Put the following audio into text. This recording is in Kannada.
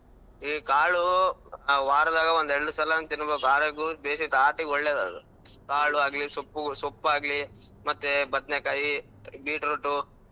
ಈ ಕಾಳು ವಾರದಾಗ ಒಂದೇಳ್ಡು ಸಲ ತಿನ್ಬೇಕು ಆರೋಗ್ಯ ಕಾಳು ಆಗ್ಲಿ ಸೊಪ್ಪು ಸೊಪ್ಪ ಆಗ್ಲಿ ಮತ್ತೆ ಬದ್ನೇಕಾಯಿ beetroot .